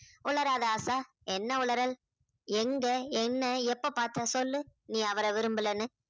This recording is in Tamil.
உளறாத ஆசா என்ன உளறல் எங்க என்ன எப்ப பாத்த சொல்லு நீ அவரை விரும்பலைன்னு